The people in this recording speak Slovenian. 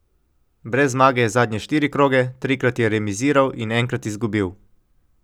Brez zmage je zadnje štiri kroge, trikrat je remiziral in enkrat izgubil.